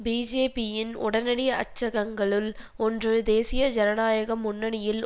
பிஜேபியின் உடனடி அச்சகங்களுள் ஒன்று தேசிய ஜனநாயக முன்னணியில்